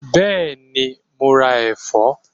Bẹ́ẹ̀ni, mo ra ẹ̀fọ́?